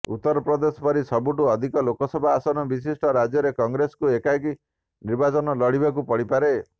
ଉତ୍ତରପ୍ରଦେଶ ପରି ସବୁଠୁ ଅଧିକ ଲୋକସଭା ଆସନ ବିଶିଷ୍ଟ ରାଜ୍ୟରେ କଂଗ୍ରେସକୁ ଏକାକି ନିର୍ବାଚନ ଲଢିବାକୁ ପଡିପାରେ